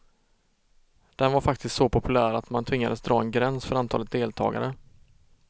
Den var faktiskt så populär att man tvingades dra en gräns för antalet deltagare.